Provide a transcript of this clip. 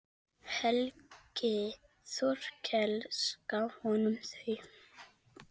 Helgi Þorkels gaf honum þau.